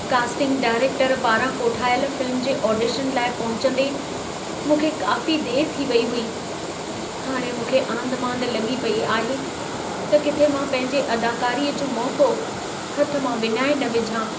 Casting director पारां कोठायल film जे ऑडिशन लाइ पहुचंदे, मूंखे काफ़ी देरि थी वेई हुई। हाणे मूंखे आंधिमांधि लॻी पेई आहे त किथे मां पंहिंजे अदाकारीअ जो मौक़ो हथ मां विञाए न विझां।